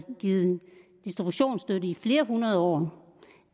givet distributionsstøtte i flere hundrede år